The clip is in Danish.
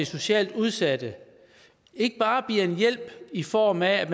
socialt udsatte ikke bare bliver en hjælp i form af